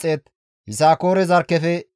Biniyaame zarkkefe 35,400,